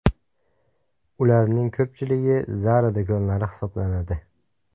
Ularning ko‘pchiligi Zara do‘konlari hisoblanadi.